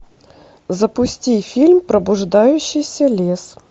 запусти фильм пробуждающийся лес